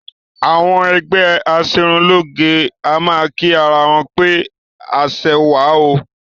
Àwọn ẹgbẹ́ aṣerunlóge a máa kí ara wọn pé aṣẹwà o